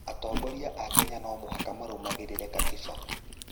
Atongoria a Kenya no mũhaka marũmagĩrĩre Katiba.